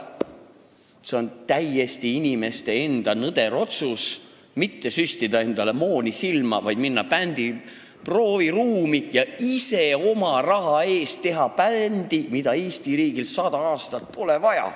See on täiesti inimeste enda nõder otsus mitte süstida endale mooni silma, vaid minna bändi prooviruumi ja ise oma raha eest teha bändi, mida Eesti riigil 100 aastat pole vaja.